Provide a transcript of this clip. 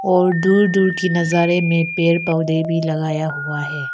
और दूर दूर की नजारे में पेड़ पौधे भी लगाया हुआ है।